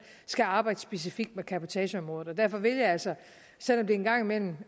skal arbejde specifikt med cabotageområdet derfor vil jeg altså selv om det en gang imellem